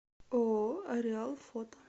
ооо ареал фото